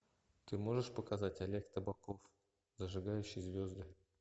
ты можешь показать олег табаков зажигающий звезды